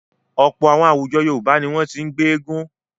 Ọ̀pọ̀ àwọn àwùjọ Yorùbá ni wọ́n ti ń gbé Egungun.